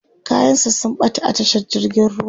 kayan sa sun ɓata a tashar jirgin ruwa